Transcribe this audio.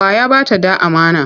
Wa ya ba ta ɗa amana?